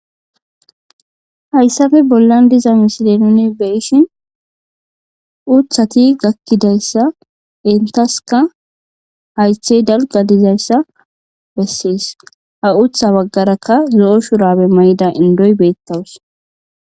Hayissafe bollan diza misile nuni beyishshin uthati gakidayssa hayithey dalga gididayssa besses ha uththa bagarakka zo"o shurabe mayida indoy betawuss